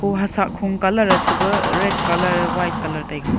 o ha saa khum colour a chu ba red colour white colour taiga.